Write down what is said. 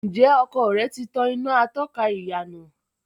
Ǹjẹ́ ọkọ̀ rẹ tí tan iná atọ́ka ìyànà?